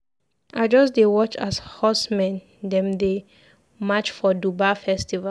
I just dey watch as horsemen dem dey match for Dubar festival.